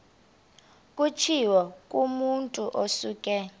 kutshiwo kumotu osuke